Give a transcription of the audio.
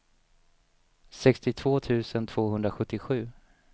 sextiotvå tusen tvåhundrasjuttiosju